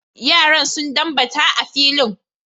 Yaran sun dambata a filin.